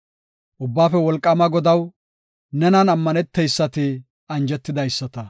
Ubbaafe Wolqaama Godaw, nenan ammaneteysati anjetidaysata.